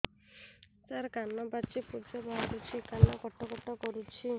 ସାର କାନ ପାଚି ପୂଜ ବାହାରୁଛି କାନ କଟ କଟ କରୁଛି